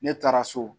Ne taara so